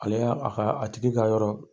Ale y'a a kaa a tigi ka yɔrɔ